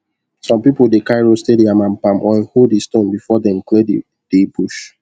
some people dey carry roasted yam and palm oil ho the stone before them clear the the bush